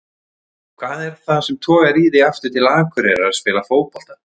Hvað er það sem togar í þig aftur til Akureyrar að spila fótbolta?